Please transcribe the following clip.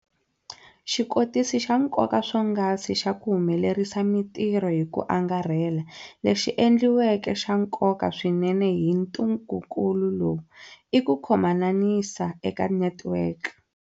Xikotisi xa nkoka swonghasi xa ku humelerisa mitirho hi ku angarhela, lexi endliweke xa nkoka swinene hi ntungukulu lowu, i ku khomananisa eka netiweke.